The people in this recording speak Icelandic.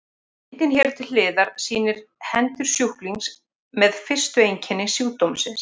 Myndin hér til hliðar sýnir hendur sjúklings með fyrstu einkenni sjúkdómsins.